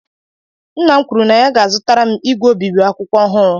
Nna m kwuru na ya ga-azụtara m igwe obibi akwụkwọ ọhụrụ.